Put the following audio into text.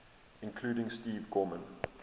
including steve gorman